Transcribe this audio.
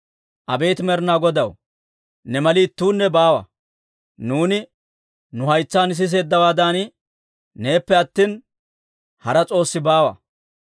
«Abeet Med'inaa Godaw, ne mali ittuunne baawa. Nuuni nu haytsaan siseeddawaadan, neeppe attina, hara s'oossi baawa.